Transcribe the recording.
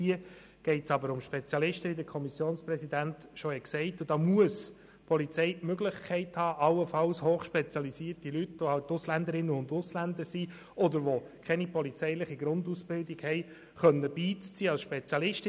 Hier geht es jedoch um Spezialisten, wobei die Polizei die Möglichkeit haben muss, allenfalls hochspezialisierte Leute, welche allenfalls Ausländer sind oder welche keine polizeiliche Grundausbildung haben, beiziehen zu können.